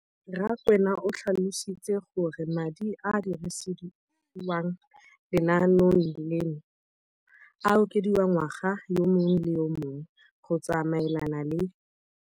Rakwena o tlhalositse gore madi a a dirisediwang lenaane leno a okediwa ngwaga yo mongwe le yo mongwe go tsamaelana le